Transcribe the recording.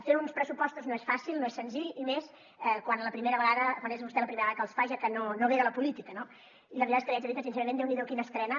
fer uns pressupostos no és fàcil no és senzill i més quan és vostè la primera vegada que els fa ja que no ve de la política no i la veritat és que li haig de dir que sincerament déu n’hi do quina estrena